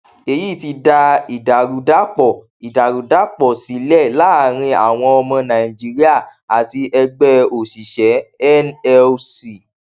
èyí ti dá ìdàrúdàpọ ìdàrúdàpọ sílẹ láàrin àwọn ọmọ nàìjíríà àti ẹgbẹ òṣìṣẹ nlc